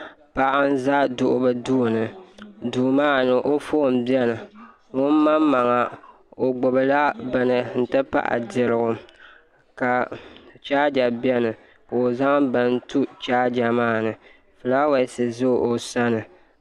Paɣa n ʒɛ duɣuli duu duu maa ni o foon biɛni ŋun maŋmaŋa o gbubila bini n ti pahi dirigu ka chaaja biɛni ka o zaŋ bini tu chaaja maa ni fulaawaasi ʒɛ o sani